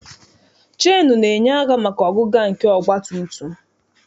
CHeenụ na-enye aka maka ọgụga nke ọgbatumtum.